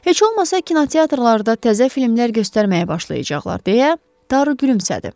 Heç olmasa kinoteatrlarda təzə filmlər göstərməyə başlayacaqlar deyə Daro gülümsədi.